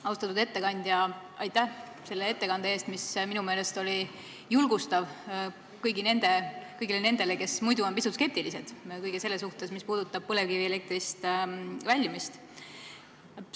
Austatud ettekandja, aitäh selle ettekande eest, mis minu meelest oli julgustav kõigile nendele, kes on pisut skeptilised kõige selle suhtes, mis puudutab põlevkivielektri tootmisest väljumist!